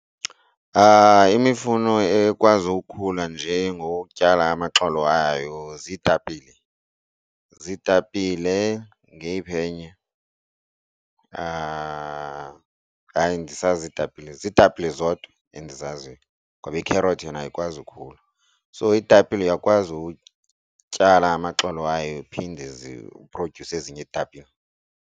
Imifuno ekwazi ukhula njee ngokutyala amaxolo ayo ziitapile, ziitapile. Ngeyiphi enye hayi ndisazi iitapile. Ziitapile zodwa endizaziyo ngoba iikherothi yona ayikwazi ukhula. So iitapile uyakwazi utyala amaxolo ayo iphinde ziphrodyuse ezinye iitapile.